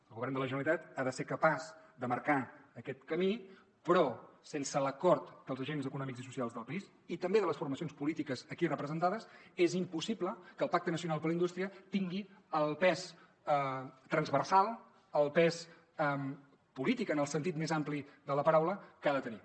el govern de la generalitat ha de ser capaç de marcar aquest camí però sense l’acord dels agents econòmics i socials del país i també de les formacions polítiques aquí representades és impossible que el pacte nacional per la indústria tingui el pes transversal el pes polític en el sentit més ampli de la paraula que ha de tenir